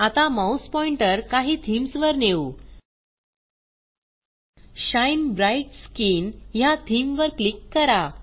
आता mouse pointer काही themes वर नेऊltPausegt शाईन ब्राइट स्किन ह्या थीम वर क्लिक करा